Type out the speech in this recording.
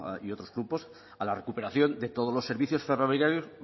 y otros grupos a la recuperación de todos los servicios ferroviarios